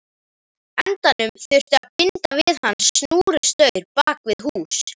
endanum þurfti að binda hann við snúrustaur bak við hús.